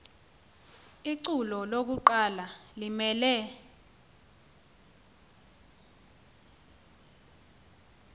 ichule lokuqala limele